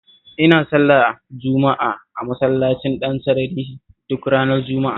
Ina sallar juma'a a Masallacin Dansarari duk ranar Juma'a